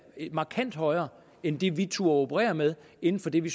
markant højere end det vi turde operere med inden for det vi